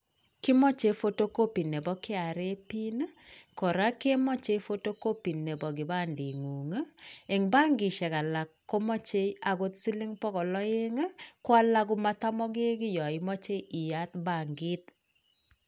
Kimoche photocopy nebo kenya revenue authority pin ii, kora kemoche photocopy nebo kipandengung ii ,eng bankishek alak komoche akot siling bokol aeng ii, ko alak ko matamokekiy yo imoche iyaat bankit.